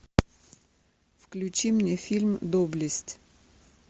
включи мне фильм доблесть